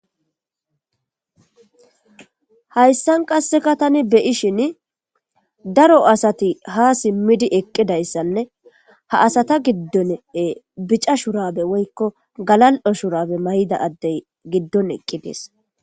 Hayssan qasseka tani beyishin daro asati ha simmidi eqqidayssanne ha asata giddone bica shurabe woykko galal'o shurabe may'ida addey giddon eqqi dees.